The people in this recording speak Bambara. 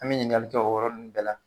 An be ɲininkali kɛ o yɔɔrɔ nuw bɛɛ la